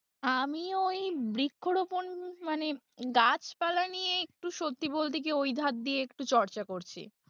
আমি ওই বৃক্ষরোপন মানে গাছপালা নিয়ে একটু সত্যি বলতে কি ওই ধার দিয়ে একটু চর্চা করছি।